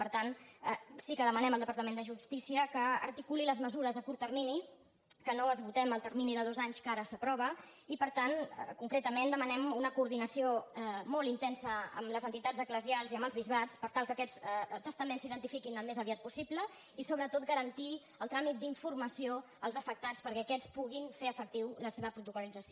per tant sí que demanem al departament de justícia que articuli les mesures a curt termini que no esgotem el termini de dos anys que ara s’aprova i per tant concretament demanem una coordinació molt intensa amb les entitats eclesials i amb els bisbats per tal que aquests testaments s’identifiquin al més aviat possible i sobretot garantir el tràmit d’informació als afectats perquè aquests puguin fer efectiva la seva protocollització